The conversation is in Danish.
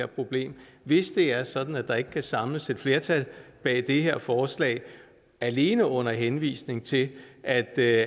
problem hvis det er sådan at der ikke kan samles et flertal bag det her forslag alene under henvisning til at det